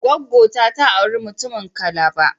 gwaggo ta, ta auri mutumin Calabar